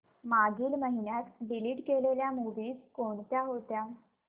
मागील महिन्यात डिलीट केलेल्या मूवीझ कोणत्या होत्या